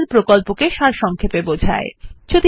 এটি spoken tutorial প্রকল্পটি সারসংক্ষেপে বোঝায়